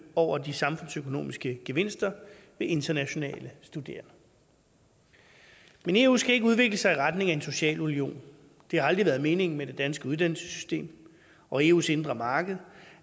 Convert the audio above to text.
over de samfundsøkonomiske gevinster ved internationale studerende men eu skal ikke udvikle sig i retning af en social union det har aldrig været meningen med det danske uddannelsessystem og eus indre marked